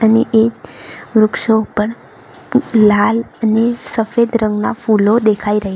અહીં એક વૃક્ષો ઉપર લાલ અને સફેદ રંગના ફૂલો દેખાઈ રહ્યા --